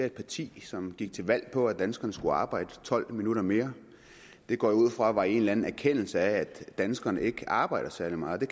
et parti som gik til valg på at danskerne skulle arbejde tolv minutter mere det går jeg ud fra var i en anerkendelse af at danskerne ikke arbejder særlig meget og